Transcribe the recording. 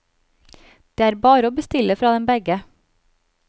Det er bare å bestille fra dem begge.